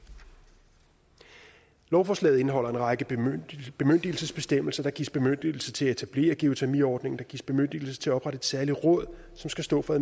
lovforslaget indeholder en række bemyndigelsesbestemmelser der gives bemyndigelse til at etablere geotermiordningen og der gives bemyndigelse til at oprette et særligt råd som skal stå for